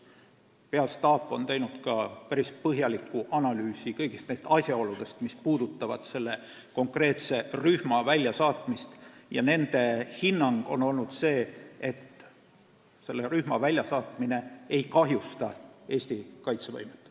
Peastaap on päris põhjalikult analüüsinud kõiki asjaolusid, mis puudutavad selle konkreetse rühma väljasaatmist, ja nende hinnangul üksuse väljasaatmine ei kahjusta Eesti kaitsevõimet.